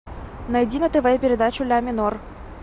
найди на тв передачу ля минор